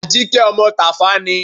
Àjíkẹ́ ọmọ Tàfá ni.